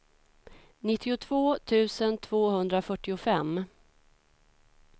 nittiotvå tusen tvåhundrafyrtiofem